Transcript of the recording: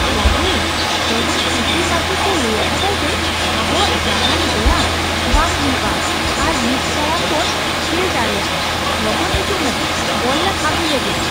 ᱨᱟᱡᱩᱞ! ᱛᱮᱦᱮᱧ P T ᱢᱟᱪᱮᱫ ᱫᱚ ᱞᱟᱹᱭ ᱟᱠᱟᱫᱟᱭ ᱡᱮ, ᱟᱵᱚᱣᱟᱜ ᱡᱟᱦᱟᱱ ᱵᱮᱭᱟᱢ ᱵᱟᱝ ᱦᱩᱭᱩᱜᱼᱟ ᱟᱨ ᱑ ᱴᱟᱲᱟᱝ ᱵᱚᱱ ᱠᱷᱮᱞ ᱫᱟᱲᱮᱭᱟᱜᱼᱟ ! ᱞᱚᱜᱚᱱ ᱦᱤᱡᱩᱜ ᱢᱮ, ᱵᱚᱞ ᱞᱟᱝ ᱟᱹᱜᱩᱞᱮᱜᱮ !